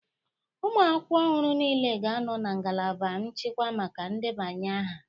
Ụmụ akwụkwọ ọhụrụ niile ga-anọ na ngalaba nchịkwa maka ndebanye aha.